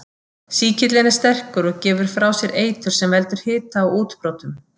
Sýkillinn er sterkur og gefur frá sér eitur sem veldur hita og útbrotum.